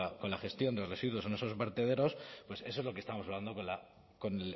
con la gestión de residuos en esos vertederos pues eso es lo que estamos hablando con